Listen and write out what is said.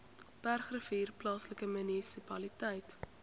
bergrivier plaaslike munisipaliteit